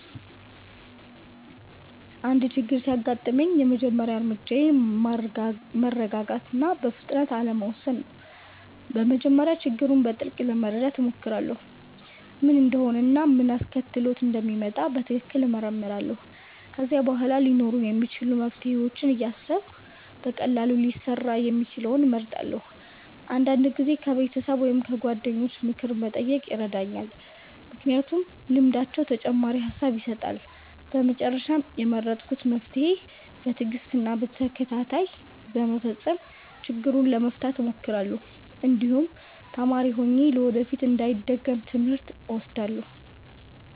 አንድ ችግር ሲያጋጥመኝ የመጀመሪያ እርምጃዬ ማረጋጋት እና በፍጥነት አለመውሰድ ነው። በመጀመሪያ ችግሩን በጥልቅ ለመረዳት እሞክራለሁ፣ ምን እንደሆነ እና ምን አስከትሎት እንደመጣ በትክክል እመረምራለሁ። ከዚያ በኋላ ሊኖሩ የሚችሉ መፍትሄዎችን እያሰብሁ በቀላሉ ሊሰራ የሚችለውን እመርጣለሁ። አንዳንድ ጊዜ ከቤተሰብ ወይም ከጓደኞች ምክር መጠየቅ ይረዳኛል፣ ምክንያቱም ልምዳቸው ተጨማሪ ሐሳብ ይሰጣል። በመጨረሻም የመረጥኩትን መፍትሄ በትዕግስት እና በተከታታይ በመፈጸም ችግሩን ለመፍታት እሞክራለሁ፣ እንዲሁም ተማሪ ሆኜ ለወደፊት እንዳይደገም ትምህርት እወስዳለሁ።